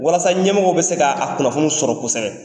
Walasa ɲɛmɔgɔw bɛ se ka, a kunnafoni sɔrɔ kosɛbɛ.